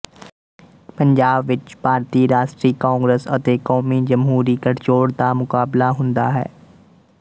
ਪੰਜਾਬ ਵਿੱਚ ਭਾਰਤੀ ਰਾਸ਼ਟਰੀ ਕਾਂਗਰਸ ਅਤੇ ਕੌਮੀ ਜਮਹੂਰੀ ਗਠਜੋੜ ਦਾ ਮੁਕਾਬਲਾ ਹੁੰਦਾ ਹੈ